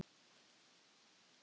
Já, það var einsog sjórinn öskraði.